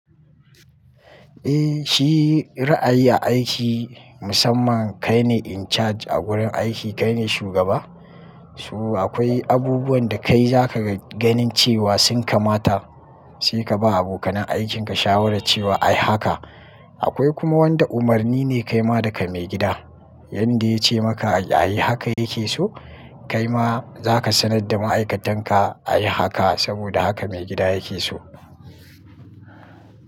Eh, shi ra'ayi aiki musamman kai ne in charge a wurin aiki, kai ne shugaba. So akwai abubuwan da kai za ga ganin cewa sun kamata sai ka ba abokanen aikinka shawarar cewa a yi haka. Akwai kuma wanda umarni ne kai ma daga maigida, yanda ya ce maka a yi haka yake so kai ma za ka sanar da ma'aikatan ka a yi haka saboda haka maigida yake so.